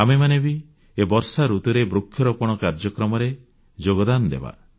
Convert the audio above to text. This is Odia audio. ଆମେମାନେ ବି ଏ ବର୍ଷାଋତୁରେ ବୃକ୍ଷରୋପଣ କାର୍ଯ୍ୟକ୍ରମରେ ଯୋଗଦାନ ଦେବା